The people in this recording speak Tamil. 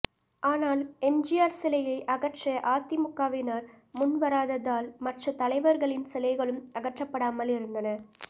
ஆனால் எம்ஜிஆர் சிலையை அகற்ற அதிமுகவினர் முன்வராததால் மற்ற தலைவர்களின் சிலைகளும் அகற்றப்படாமல் இருந்தன